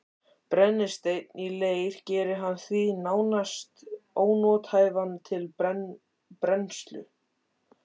Brennisteinn í leir gerir hann því nánast ónothæfan til brennslu.